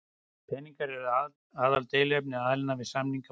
Peningar eru aðaldeiluefni aðilanna við samningaborðið